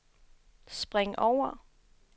spring over